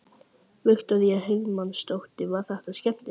Viktoría Hermannsdóttir: Var þetta skemmtilegt?